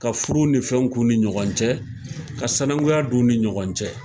Ka furu ni fɛn k'u ni ɲɔgɔn cɛ, ka sananguya don u ni ɲɔgɔn cɛ.